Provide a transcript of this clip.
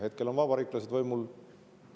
Hetkel on vabariiklased võimul.